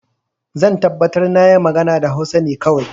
Zan tabbatar na yi magana da Hausa ne kawai.